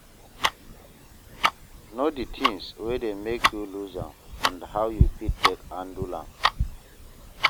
Know di things wey dey make you loose am and how you fit take handle am